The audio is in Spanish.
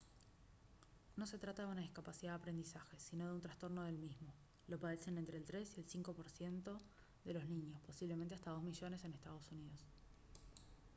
no se trata de una discapacidad de aprendizaje sino de un trastorno del mismo; «lo padecen entre el 3 y el 5 por ciento de los niños posiblemente hasta 2 millones en estados unidos»